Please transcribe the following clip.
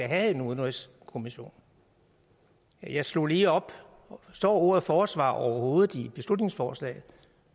have en udenrigskommission jeg slog lige op står ordet forsvar overhovedet i beslutningsforslaget